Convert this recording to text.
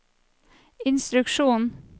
instruksjon